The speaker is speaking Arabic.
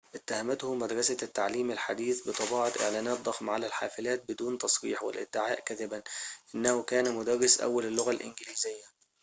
اتهمته مدرسة التعليم الحديث بطباعة إعلانات ضخمة على الحافلات بدون تصريح والادعاء كذبًا أنه كان مدرس أول اللغة الإنجليزية